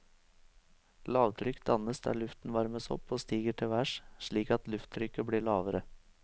Lavtrykk dannes der luften varmes opp og stiger til værs, slik at lufttrykket blir lavere.